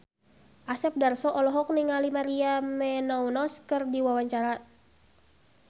Asep Darso olohok ningali Maria Menounos keur diwawancara